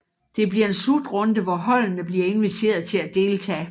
Det bliver en slutrunde hvor holdene blive inviteret til at deltage